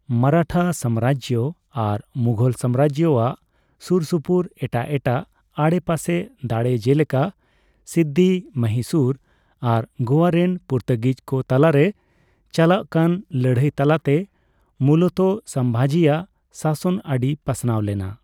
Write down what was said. ᱢᱟᱨᱟᱴᱷᱟ ᱥᱟᱢᱨᱟᱡᱽ ᱟᱨ ᱢᱩᱜᱷᱚᱞ ᱥᱟᱢᱨᱟᱡᱽ ᱟᱜ ᱥᱩᱨᱥᱩᱯᱩᱨ ᱮᱴᱟᱜ ᱮᱴᱟᱜ ᱟᱰᱮᱯᱟᱥᱮ ᱫᱟᱲᱮ ᱡᱮᱞᱮᱠᱟ ᱥᱤᱫᱫᱤ, ᱢᱚᱦᱤᱥᱩᱨ ᱟᱨ ᱜᱚᱣᱟ ᱨᱮᱱ ᱯᱚᱨᱛᱩᱜᱤᱡ ᱠᱚ ᱛᱟᱞᱟᱨᱮ ᱪᱟᱞᱟᱜ ᱠᱟᱱ ᱞᱟᱹᱲᱦᱟᱹᱭ ᱛᱟᱞᱟᱛᱮ ᱢᱩᱞᱚᱛᱚ ᱥᱚᱸᱵᱷᱟᱡᱤ ᱟᱜ ᱥᱟᱥᱚᱱ ᱟᱹᱰᱤ ᱯᱟᱥᱱᱟᱣ ᱞᱮᱱᱟ ᱾